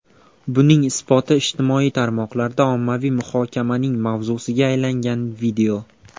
Buning isboti ijtimoiy tarmoqlarda ommaviy muhokamaning mavzusiga aylangan video.